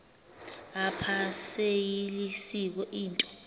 apha seyilisiko into